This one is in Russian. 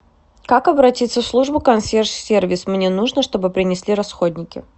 как обратиться в службу консьерж сервис мне нужно чтобы принесли расходники